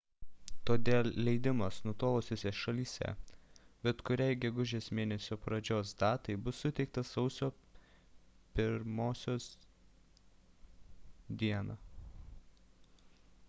todėl leidimas nutolusiose šalyse bet kuriai gegužės mėnesio pradžios datai bus suteiktas sausio 1 d